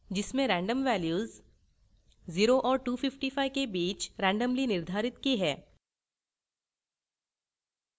जिसमें random values 0 और 255 के बीच randomly निर्धारित की हैं